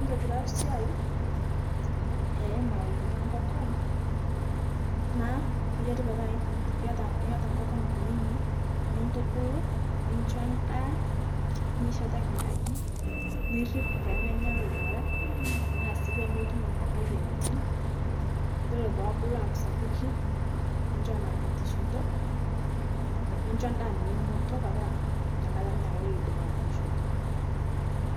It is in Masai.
Tobiraa siai emayeni enkokon, naa keyiari petaa iyiata iyiata nkokon kunini nitubulu, nincho ndaa, nisheteki nkaji, nirip pemenya lowarak, tanaa sii pemetum moyianitin, yuolo poobulu aaku sapuki nincho naa metiishoto, incho ndaa meimoto petaa nyiakata amu niakata eidim aatishoto.